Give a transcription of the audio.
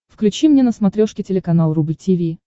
включи мне на смотрешке телеканал рубль ти ви